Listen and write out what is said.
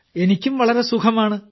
എനിക്കും വളരെ സുഖമാണ്